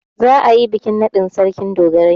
Za'a yi bikin naɗin Sarkin dogarai.